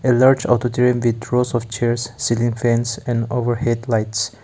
a large auditorium with rows of chairs ceiling fans and overhead lights.